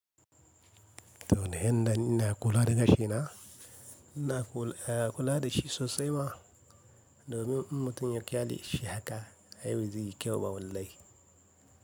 To, ni yanda ina kula da gashina, ina kula da shi sosai ma domin in mutum ya kyaleshi haka ai ba zai yi kyau ba wallahi.